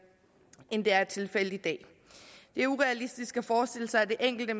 end det er tilfældet i dag det er urealistisk at forestille sig at det enkelte